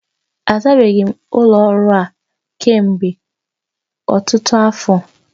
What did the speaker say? A zabeghi ụlọ ọrụ a kemgbe ọtụtụ afọ